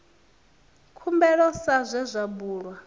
khumbelo sa zwe zwa bulwa